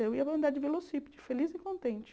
Eu ia andar de velocípede, feliz e contente.